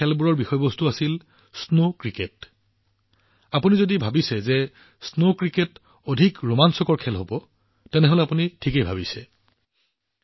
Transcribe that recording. এই খেলসমূহৰ বিষয়বস্তু আছিল স্নো ক্ৰিকেট আপোনালোকে ভাবিব পাৰে যে স্নো ক্ৰিকেট এক অতি ৰোমাঞ্চকৰ খেল হব হয় আপুনি একেবাৰে শুদ্ধ